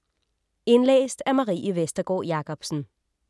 Indlæst af: